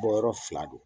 Bɔ yɔrɔ fila do